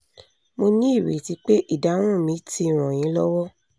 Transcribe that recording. mo ní ìrètí pé ìdáhùn mi ti ràn yín lọ́wọ́